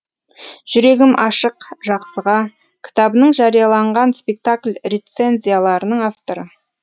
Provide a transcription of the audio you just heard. жүрегім ашық жақсыға кітабының жарияланған спектакль рецензияларының авторы